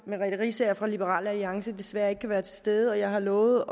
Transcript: merete riisager fra liberal alliance desværre ikke kan være til stede og jeg har lovet